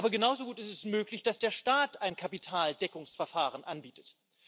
Aber genauso gut ist es möglich, dass der Staat ein Kapitaldeckungsverfahren anbietet.